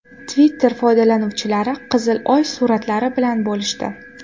Twitter foydalanuvchilari qizil Oy suratlari bilan bo‘lishdi.